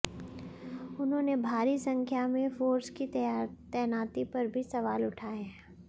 उन्होंने भारी संख्या में फोर्स की तैनाती पर भी सवाल उठाए हैं